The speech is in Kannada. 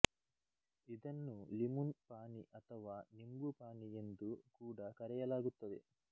ಇದನ್ನು ಲಿಮುನ್ ಪಾನಿ ಅಥವಾ ನಿಂಬು ಪಾನಿ ಎಂದು ಕೂಡ ಕರೆಯಲಾಗುತ್ತದೆ